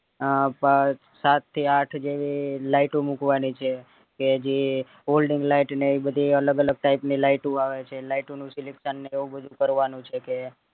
અ સાત થી આઠ જે light ઉ મુકવાની છે કે જે light ને એવી બધી અલગ અલગ type ની light ઉ આવે છે light ઉ નું selection ને એવું બધું કરવાનું છે કે